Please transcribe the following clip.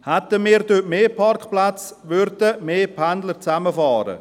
Hätten wir dort mehr Parkplätze, würden mehr Pendler gemeinsam fahren.